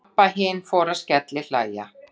Abba hin fór að skellihlæja.